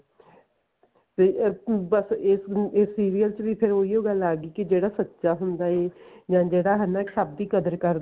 ਤੇ ਅਸੀਂ ਬੱਸ ਇਸ ਨੂੰ ਇਹ serial ਵਿੱਚ ਵੀ ਉਹੀ ਓ ਗੱਲ ਆ ਗੀ ਕਿ ਜਿਹੜਾ ਸੱਚਾ ਹੁੰਦਾ ਏ ਜਾਂ ਜਿਹੜਾ ਹਨਾ ਸਭ ਦੀ ਕਦਰ ਕਰਦਾ